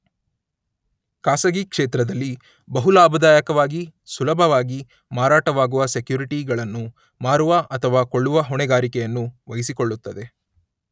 ಖಾಸಗಿ ಕ್ಷೇತ್ರದಲ್ಲಿ ಬಹು ಲಾಭದಾಯಕವಾಗಿ ಸುಲಭವಾಗಿ ಮಾರಾಟವಾಗುವ ಸೆಕ್ಯೂರಿಟಿಗಳನ್ನು ಮಾರುವ ಅಥವಾ ಕೊಳ್ಳುವ ಹೊಣೆಗಾರಿಕೆಯನ್ನು ವಹಿಸಿಕೊಳ್ಳುತ್ತದೆ.